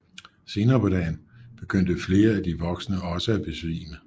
Senere på dagen begyndte flere af de voksne også at besvime